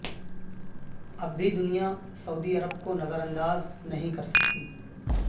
اب بھی دنیا سعودی عرب کو نظر انداز نہیں کر سکتی